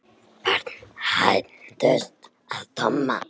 Börn hændust að Tomma.